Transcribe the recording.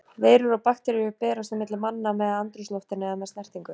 veirur og bakteríur berast á milli manna með andrúmsloftinu eða með snertingu